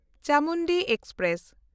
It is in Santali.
ᱪᱟᱢᱩᱱᱰᱤ ᱮᱠᱥᱯᱨᱮᱥ